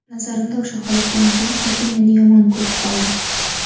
Nazarimda, o‘sha holatdan keyin hokim meni yomon ko‘rib qoldi.